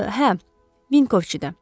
Hə, Vinkovçidə.